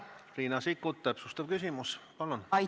Riina Sikkut, täpsustav küsimus, palun!